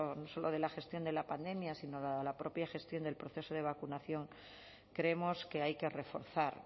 no solo de la gestión de la pandemia sino la de la propia gestión del proceso de vacunación creemos que hay que reforzar